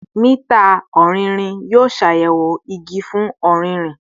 Mita ọrinrin yoo ṣayẹwo igi fun ọririn